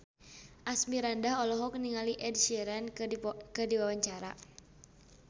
Asmirandah olohok ningali Ed Sheeran keur diwawancara